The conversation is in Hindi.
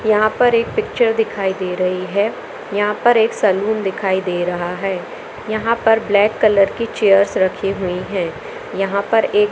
यहाँ पर एक पिक्चर दिखाई दे रही है यहाँ पर एक सलून दिखाई दे रहा है यहाँ पर ब्लैक कलर की चेयर्स रखी हुई हैं यहाँ पर एक --